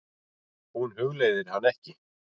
Hún hugleiðir hana ekki.